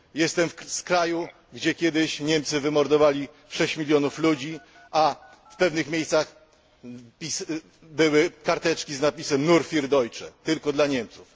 Jestem z kraju, gdzie kiedyś Niemcy wymordowali 6 mln ludzi, a w pewnych miejscach były karteczki z napisem nur für Deutsche tylko dla Niemców